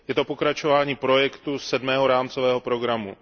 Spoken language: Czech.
Je to pokračování projektu sedmého rámcového programu.